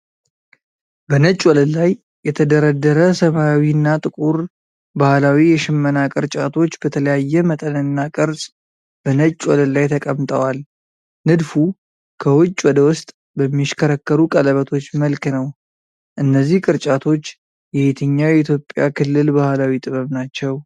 በነጭ ወለል ላይ የተደረደረ ሰማያዊ እና ጥቁር ባህላዊ የሽመና ቅርጫቶች በተለያየ መጠን እና ቅርፅ በነጭ ወለል ላይ ተቀምጠዋል። ንድፉ ከውጪ ወደ ውስጥ በሚሽከረከሩ ቀለበቶች መልክ ነው። እነዚህ ቅርጫቶች የየትኛው የኢትዮጵያ ክልል ባህላዊ ጥበብ ናቸው?